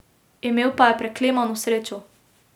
Imel pa je preklemano srečo.